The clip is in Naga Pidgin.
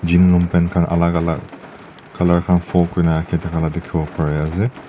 tin long paint alag alag colour dikhi bola pare ase.